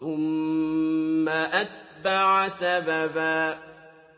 ثُمَّ أَتْبَعَ سَبَبًا